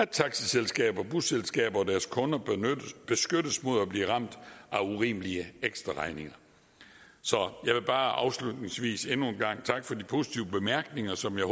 taxiselskaber busselskaber og deres kunder beskyttes mod at blive ramt af urimelige ekstraregninger så jeg vil bare afslutningsvis endnu en gang takke for de positive bemærkninger som jeg